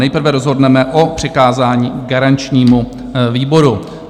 Nejprve rozhodneme o přikázání garančnímu výboru.